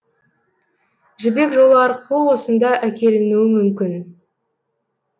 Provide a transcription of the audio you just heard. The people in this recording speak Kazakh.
жібек жолы арқылы осында әкелінуі мүмкін